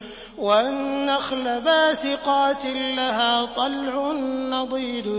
وَالنَّخْلَ بَاسِقَاتٍ لَّهَا طَلْعٌ نَّضِيدٌ